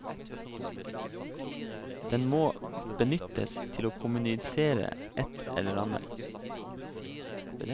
Den må benyttes til å kommunisere et eller annet.